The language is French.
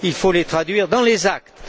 Il faut les traduire dans les actes.